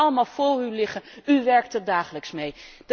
U heeft hem allemaal voor u liggen, u werkt er dagelijks mee.